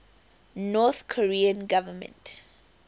north korean government